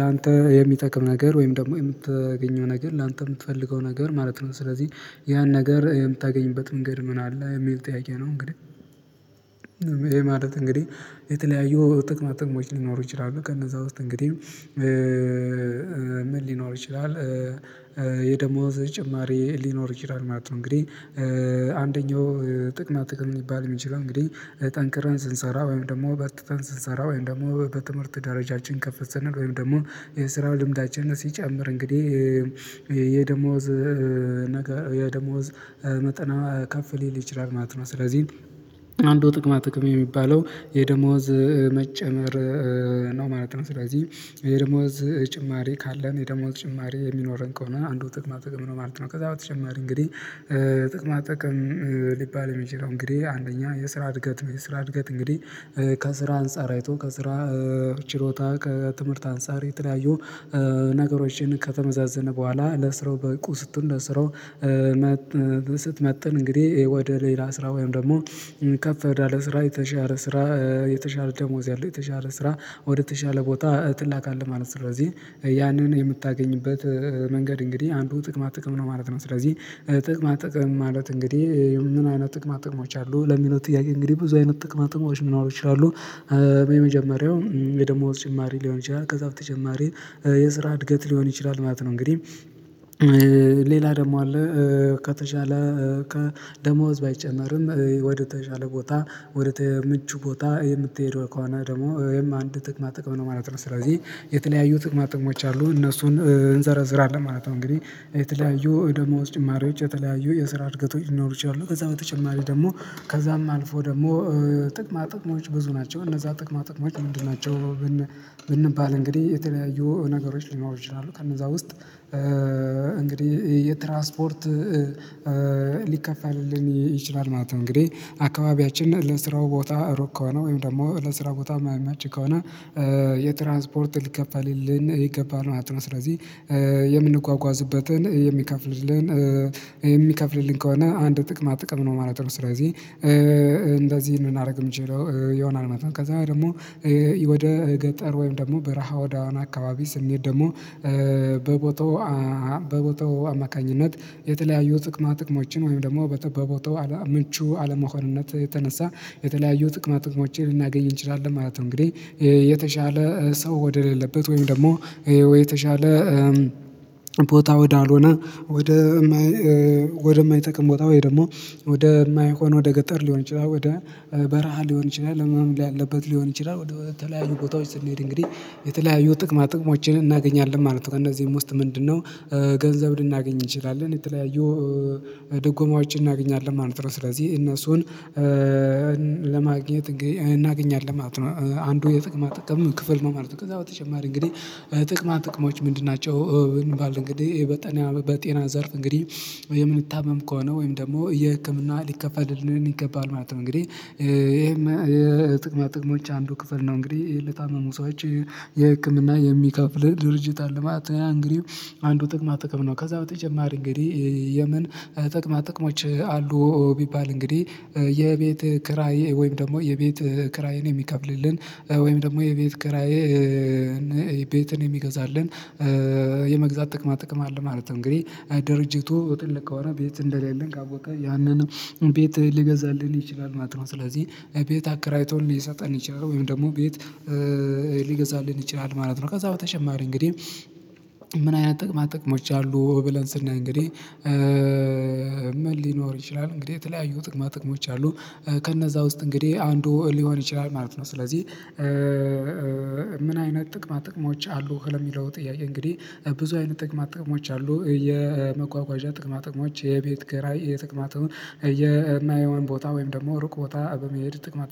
ላንተ የሚጠቅም ነገር ወይም ደግሞ የምታገኘው ነገር ላንተ የምትፈልገው ነገር ማለት ነው። ስለዚህ ያን ነገር የምታገኝበት መንገድ ምን አለ የሚል ጥያቄ ነው። እንግዲህ ይሄ ማለት እንግዲህ የተለያዩ ጥቅማ ጥቅሞች ሊኖሩ ይችላሉ። ከነዛ ውስጥ እንግዲህ ምን ሊኖሩ ይችላል? የደሞዝ ጭማሪ ሊኖር ይችላል ማለት ነው። እንግዲህ አንደኛው ጥቅማ ጥቅም ሊባል የሚችለው እንግዲህ ጠንክረን ስንሰራ ወይም ደግሞ በርትተን ስንሰራ ወይም ደግሞ በትምህርት ደረጃችን ከፍ ስንል ወይም ደግሞ የስራው ልምዳችንን ሲጨምር እንግዲህ የደሞዝ ነገር የደሞዝ መጠን ከፍ ሊችል ማለት ነው። ስለዚህ አንዱ ጥቅማ ጥቅም የሚባለው የደሞዝ መጨመር ነው ማለት ነው። ስለዚህ የደሞዝ ጭማሪ ካለን የደሞዝ ጭማሪ የሚኖረን ከሆነ አንዱ ጥቅማ ጥቅም ነው ማለት ነው። ከዛ በተጨማሪ እንግዲህ ጥቅማ ጥቅም ሊባል የሚችለው እንግዲህ አንደኛ የስራ እድገት ነው። የስራ እድገት እንግዲህ ከስራ አንፃር አይቶ ከስራ ችሎታ ከትምህርት አንፃር የተለያዩ ነገሮችን ከተመዛዘነ በኋላ ለስራው በቁ ስትሆን ለስራው እንግዲህ ወደ ሌላ ስራ ወይም ደግሞ ከፍ ያለ ስራ የተሻለ ስራ የተሻለ ደሞዝ ያለው የተሻለ ስራ ወደ ተሻለ ቦታ ትላካለህ ማለት ነው። ስለዚህ ያንን የምታገኝበት መንገድ እንግዲህ አንዱ ጥቅማ ጥቅም ነው ማለት ነው። ስለዚህ ጥቅማ ጥቅም ማለት እንግዲህ ምን አይነት ጥቅማ ጥቅሞች አሉ ለሚለው ጥያቄ እንግዲህ ብዙ አይነት ጥቅማ ጥቅሞች ሊኖሩ ይችላሉ። የመጀመሪያው የደሞዝ ጭማሪ ሊሆን ይችላል ከዛ በተጨማሪ የስራ እድገት ሊሆን ይችላል ማለት ነው። እንግዲህ ሌላ ደግሞ አለ። ከተቻለ ከደሞዝ ባይጨመርም ወደ ተሻለ ቦታ ወደ ምቹ ቦታ የምትሄደው ከሆነ ደግሞ ይህም አንድ ጥቅማ ጥቅም ነው ማለት ነው። ስለዚህ የተለያዩ ጥቅማ ጥቅሞች አሉ እነሱን እንዘረዝራለን ማለት ነው። እንግዲህ የተለያዩ ደሞዝ ጭማሪዎች የተለያዩ የስራ እድገቶች ሊኖሩ ይችላሉ። ከዛ በተጨማሪ ደግሞ ከዛም አልፎ ደግሞ ጥቅማ ጥቅሞች ብዙ ናቸው። እነዛ ጥቅማ ጥቅሞች ምንድን ናቸው? ብንባል እንግዲህ የተለያዩ ነገሮች ሊኖሩ ይችላሉ። ከነዛ ውስጥ እንግዲህ የትራስፖርት ሊከፈልልን ይችላል ማለት ነው። እንግዲህ አካባቢያችን ለስራው ቦታ ሩቅ ከሆነ ወይም ደግሞ ለስራ ቦታ ማይች ከሆነ የትራንስፖርት ሊከልልን ይገባል ማለት ነው። ስለዚህ የምንጓጓዝበትን የሚከፍልልን የሚከፍልልን ከሆነ አንድ ጥቅማ ጥቅም ነው ማለት ነው። ስለዚህ እንደዚህ ልናደርግ የምንችለው ይሆናል ማለት ነው። ከዛ ደግሞ ወደ ገጠር ወይም ደግሞ በረሃ ወደሆነ አካባቢ ስንሄድ ደግሞ በቦታው በቦታው አማካኝነት የተለያዩ ጥቅማ ጥቅሞችን ወይም ደግሞ በቦታው ምቹ አለመሆንነት የተነሳ የተለያዩ ጥቅማ ጥቅችን ልናገኝ እንችላለን ማለት ነው። እንግዲህ የተሻለ ሰው ወደሌለበት ወይም ደግሞ ወይ የተሻለ ቦታ ወዳልሆነ ወደ ወደማይጠቅም ቦታ ወይ ደግሞ ወደማይሆን ወደገጠር ሊሆን ይችላል ወደ በረሃ ሊሆን ይችላል ህመም ያለበት ሊሆን ይችላል ወደ ተለያዩ ቦታዎች ስንሄድ እንግዲህ የተለያዩ ጥቅማ ጥቅሞችን እናገኛለን ማለት ነው። ከእነዚህም ውስጥ ምንድነው ገንዘብ ልናገኝ እንችላለን የተለያዩ ደጎማዎችን እናገኛለን ማለት ነው። ስለዚህ እነሱን ለማግኘት እናገኛለን ማለት ነው። አንዱ የጥቅማ ጥቅም ክፍል ማለት ነው። ከዛ በተጨማሪ እንግዲህ ጥቅማ ጥቅሞች ምንድን ናቸው? ብንባል እንግዲህ ይሄ በጤና በጤና ዘርፍ እንግዲህ የምንታመም ከሆነ ወይም ደግሞ የህክምና ሊከፈልልን ይገባል ማለት ነው። እንግዲህ ይሄም የጥቅማ ጥቅሞች አንዱ ክፍል ነው። እንግዲህ ለታመሙ ሰዎች የህክምና የሚከፍል ድርጅት አለ ማለት ነው። ያ እንግዲህ አንዱ ጥቅማ ጥቅም ነው። ከዛ በተጨማሪ እንግዲህ የምን ጥቅማ ጥቅሞች አሉ? ቢባል እንግዲህ የቤት ክራይ ወይም ደግሞ የቤት ክራይን የሚከፍልልን ወይም ደግሞ የቤት ክራይን ቤትን የሚገዛልን የመግዛት ጥቅማ ጥቅም አለ ማለት ነው። እንግዲህ ድርጅቱ ትልቅ ከሆነ ቤት እንደሌለን ካወቀ ያንን ቤት ሊገዛልን ይችላል ማለት ነው። ስለዚህ ቤት አከራይቶ ሊሰጠን ይችላል ወይም ደግሞ ቤት ሊገዛልን ይችላል ማለት ነው። ከዛ በተጨማሪ እንግዲህ ምን አይነት ጥቅማ ጥቅሞች አሉ ብለን ስናይ እንግዲህ ምን ሊኖር ይችላል እንግዲህ የተለያዩ ጥቅማ ጥቅሞች አሉ። ከነዛ ውስጥ እንግዲህ አንዱ ሊሆን ይችላል ማለት ነው። ስለዚህ ምን አይነት ጥቅማ ጥቅሞች አሉ? እንደሚለው ጥያቄ እንግዲህ ብዙ አይነት ጥቅማ ጥቅሞች አሉ የመጓጓዣ ጥቅማ ጥቅሞች የቤት ኪራይ ጥቅማ ጥቅም የማይሆን ቦታ ወይም ደግሞ ሩቅ ቦታ በመሄድ ጥቅማ